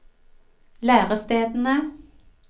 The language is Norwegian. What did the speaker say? lærestedene